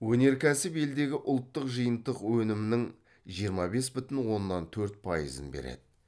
өнеркәсіп елдегі ұлттық жиынтық өнімнің жиырма бес бүтін оннан төрт пайызын береді